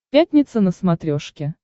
пятница на смотрешке